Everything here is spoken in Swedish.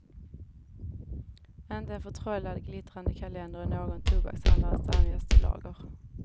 Inte en förtrollad, glittrande kalender i någon tobakshandlares dammigaste lager.